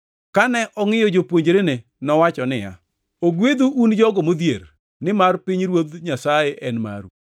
Kane ongʼiyo jopuonjrene, nowacho niya, “Ogwedhu un jogo modhier, nimar pinyruoth Nyasaye en maru.